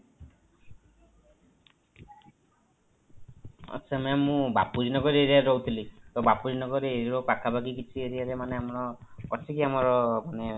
ଆଚ୍ଛା mam ମୁଁ Bapuji Nagar area ରେ ରହୁଥିଲି ତ ବାପୁଜୀ ନଗର area ର ପାଖାପାଖି କିଛି area ରେ କିଛି ମାନେ ଆମର ଅଛି କି ଆମର ମାନେ ଶାଖା bank ର branch କିଛି